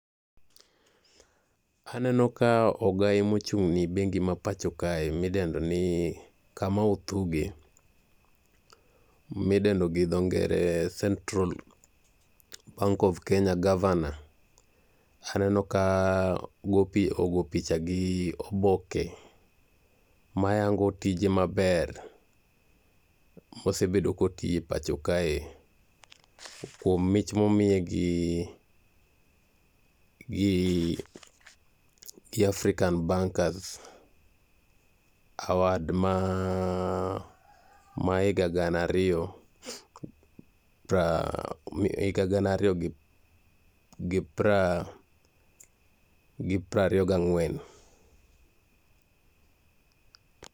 Aneno ka ogai mochung' ne bengi ma pacho kae midendoni Kamau Thuge, midendo gi dho ngere ni Central Bank of Kenya governor anerno ka ogo picha gi oboke mayango tije maber mosebet kotiyo e pacho kae momiye gi Afrcan bankers [cs[award ma higa gana ariyo gi piero ariyo ga ang'wen.